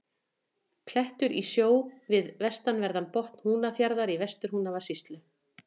Klettur í sjó við vestanverðan botn Húnafjarðar í Vestur-Húnavatnssýslu.